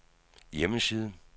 hjemmeside